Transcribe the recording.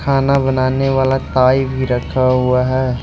खाना बनाने वाला ताई भी रखा हुआ है।